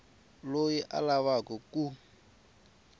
loyi a lavaka ku n